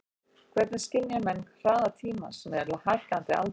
Hvernig skynja menn hraða tímans með hækkandi aldri?